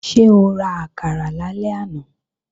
Ṣé o ra àkàrà lálẹ́ àná?